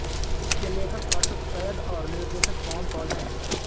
इसके लेखक अर्शद सैयद और निर्देशक पवन कौल हैं